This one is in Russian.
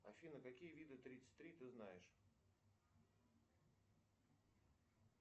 афина какие виды тридцать три ты знаешь